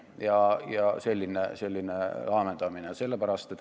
Selline laamendamine on väga inetu.